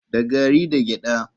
Da gari da gyada.